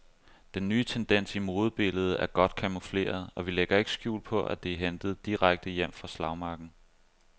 Den nye tendens i modebilledet er godt camoufleret, og vi lægger ikke skjul på, at den er hentet direkte hjem fra slagmarken.